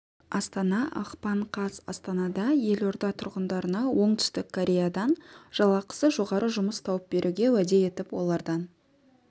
астана ақпан қаз астанада елорда тұрғындарына оңтүстік кореядан жалақысы жоғары жұмыс тауып беруге уәде етіп олардан